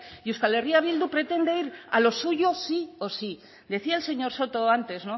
y euskal herria bildu pretende ir a lo suyo sí o sí decía el señor soto antes